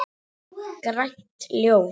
Grænt ljós.